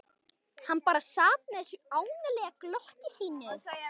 Hann bara sat með þessu ánalega glotti sínu.